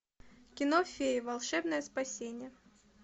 кино феи волшебное спасение